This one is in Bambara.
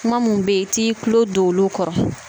Kuma minnu bɛ yen i t'i tulo don olu kɔrɔ